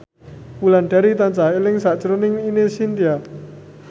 Wulandari tansah eling sakjroning Ine Shintya